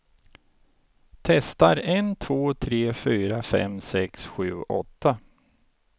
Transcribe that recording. Testar en två tre fyra fem sex sju åtta.